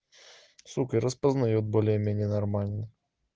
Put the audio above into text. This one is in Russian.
сука распознает более-менее нормально